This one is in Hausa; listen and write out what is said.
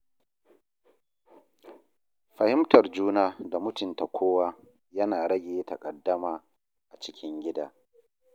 Fahimtar juna da mutunta kowa yana rage taƙaddama a cikin gida.